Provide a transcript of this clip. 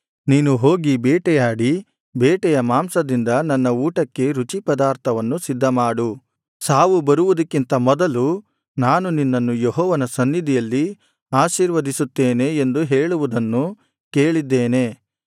ನೀನು ಹೋಗಿ ಬೇಟೆಯಾಡಿ ಬೇಟೆಯ ಮಾಂಸದಿಂದ ನನ್ನ ಊಟಕ್ಕೆ ರುಚಿಪದಾರ್ಥವನ್ನು ಸಿದ್ಧಮಾಡು ಸಾವು ಬರುವುದಕ್ಕಿಂತ ಮೊದಲು ನಾನು ನಿನ್ನನ್ನು ಯೆಹೋವನ ಸನ್ನಿಧಿಯಲ್ಲಿ ಆಶೀರ್ವದಿಸುತ್ತೇನೆ ಎಂದು ಹೇಳುವುದನ್ನು ಕೇಳಿದ್ದೇನೆ